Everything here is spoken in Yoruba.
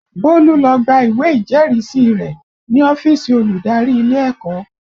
Bólú lọ gba ìwé ìjẹ́rìísí rẹ̀ ní ọ́fíìsì olùdarí ilé ẹ̀kọ́